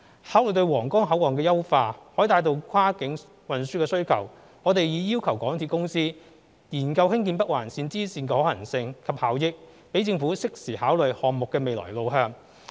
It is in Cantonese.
考慮到皇崗口岸的優化可帶動跨境運輸需求，我們已要求港鐵公司研究興建北環綫支綫的可行性及效益，讓政府適時考慮項目的未來路向。